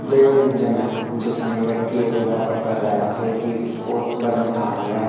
Gym है जिसमें एक व्यक्ति है जो वर्कआउट कर रहा है और देखो कि फोर वजन उठा रहा हुआ है।